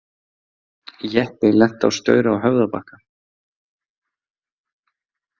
Jeppi lenti á staur á Höfðabakka